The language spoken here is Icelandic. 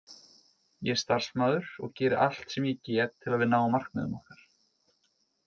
Ég er starfsmaður og geri allt sem ég get til að við náum markmiðum okkar.